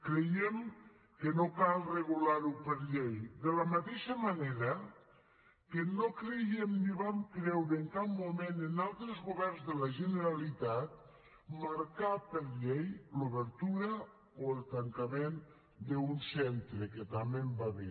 creiem que no cal regular ho per llei de la mateixa manera que no creiem ni vam creure en cap moment en altres governs de la generalitat marcar per llei l’obertura o el tancament d’un centre que també n’hi va haver